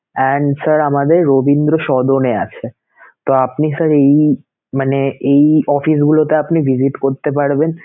and sir আমাদের রবীন্দ্র সরবরে আছেতো আপনি sir এই মানে এই office গুলোতে আপনি visit করতে পারবেন